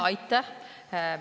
Aitäh!